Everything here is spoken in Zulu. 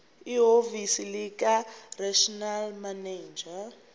ehhovisi likaregional manager